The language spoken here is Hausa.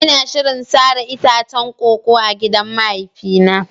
Ina shirin sare itacen koko a cikin gidan mahaifina.